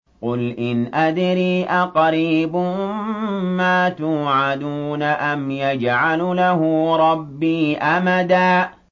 قُلْ إِنْ أَدْرِي أَقَرِيبٌ مَّا تُوعَدُونَ أَمْ يَجْعَلُ لَهُ رَبِّي أَمَدًا